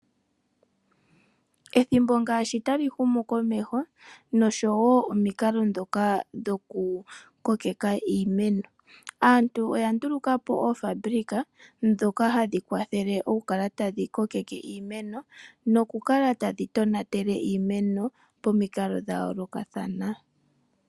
Ethimbo ngaashi tali humu komesho noshowo omikalo dhoka dhoku kokeka iimeno, aantu oya nduluka po oofambilika dhoka hadhi kwathele oku kala hadhi kokeke iimeno noku kala tadhi tonatele iimeno pomikalo dha yoolokathana.